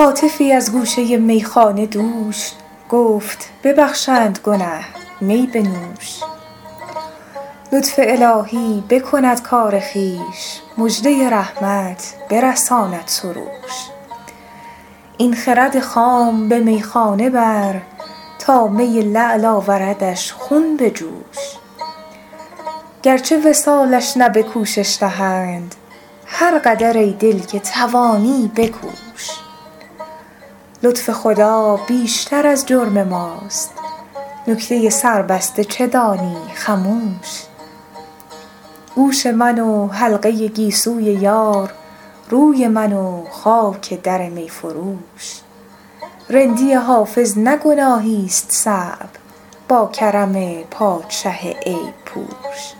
هاتفی از گوشه میخانه دوش گفت ببخشند گنه می بنوش لطف الهی بکند کار خویش مژده رحمت برساند سروش این خرد خام به میخانه بر تا می لعل آوردش خون به جوش گرچه وصالش نه به کوشش دهند هر قدر ای دل که توانی بکوش لطف خدا بیشتر از جرم ماست نکته سربسته چه دانی خموش گوش من و حلقه گیسوی یار روی من و خاک در می فروش رندی حافظ نه گناهیست صعب با کرم پادشه عیب پوش